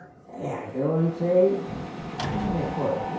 É, eu entrei e foi.